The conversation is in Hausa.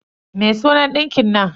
Me sunan ɗinkin nan?